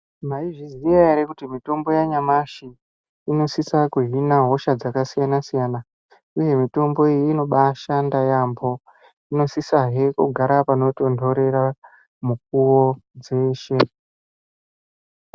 Maizviziya ere kuti mitombo yanyamashi inosisa kuhina hosha dzakasiyana siyana uye mitombo iyi inobaashanda yaambo, inosisahe kugara panotontorera mukuwo dzeshe.